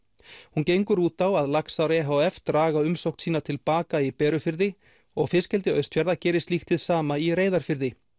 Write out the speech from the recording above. hún gengur út á að laxar e h f draga umsókn sína til baka í Berufirði og fiskeldi Austfjarða geri slíkt hið sama í Reyðarfirði